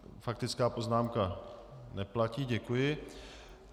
Faktická poznámka neplatí, děkuji.